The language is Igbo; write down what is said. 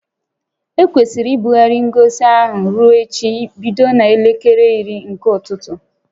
Ekwesịrị ibugharị ngosi ahụ ruo echi bido n'elekere iri nke ụtụtụ